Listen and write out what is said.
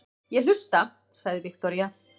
Ég hlusta, sagði Viktoría.